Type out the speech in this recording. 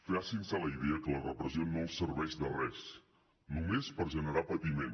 facin se a la idea que la repressió no els serveix de res només per generar patiment